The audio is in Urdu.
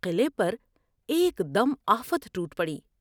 قلعے پر ایک دم آفت ٹوٹ پڑی ۔